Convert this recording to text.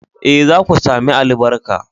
Eh, za ku sami albarka